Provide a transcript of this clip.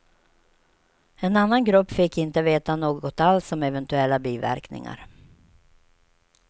En annan grupp fick inte veta något alls om eventuella biverkningar.